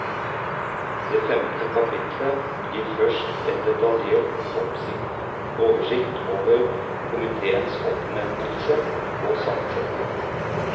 Det femte kapitlet gir først en detaljert oversikt over komiteens oppnevnelse og sammensetning.